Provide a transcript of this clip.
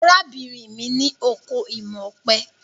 Arábìnrin mi ní oko imọ̀ ọ̀pẹ.